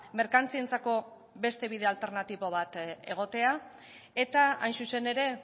merkantzientzako beste bide alternatibo bat egotea eta hain zuzen ere